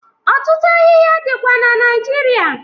Ọtụtụ ahịhịa dịkwa na Naịjirịa.